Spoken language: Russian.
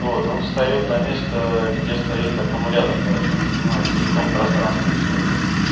вот он встаёт на место где стоит аккумулятор короче он занимает целиком пространство всё это